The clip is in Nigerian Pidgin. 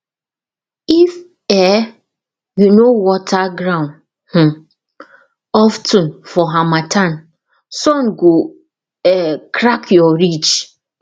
if um you no water ground um of ten for harmattan sun go um crack your ridge